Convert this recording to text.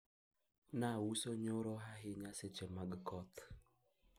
niliuza sana jana wakati wa mvua